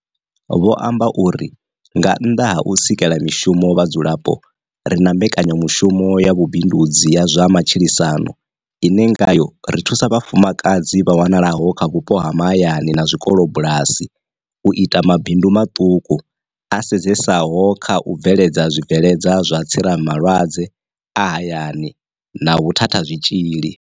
Vho amba uri, nga nnḓa ha u sikela mishumo vhadzulapo, ri na mbekanyamushumo ya vhu bindudzi ya zwa matshilisano ine ngayo ri thusa vhafumakadzi vha wanalaho kha vhupo ha mahayani na zwi kolobulasi u ita mabindu maṱuku a sedzesaho kha u bveledza zwi bveledza zwa tsiramalwadze a hayani na vhu thathazwitshili.